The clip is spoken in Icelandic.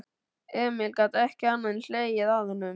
Emil gat ekki annað en hlegið að honum.